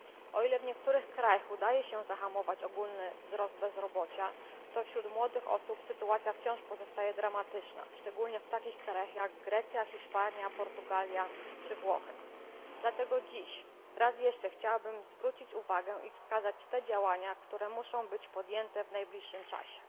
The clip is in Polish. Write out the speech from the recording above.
O ile w niektórych krajach udaje się zahamować ogólny wzrost bezrobocia, to wśród młodych osób sytuacja wciąż pozostaje dramatyczna, szczególne w takich krajach jak Grecja, Hiszpania, Portugalia czy Włochy. Dlatego dziś chciałabym jeszcze raz zwrócić uwagę na te działania, które muszą być podjęte w najbliższym czasie.